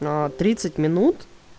на тридцать минут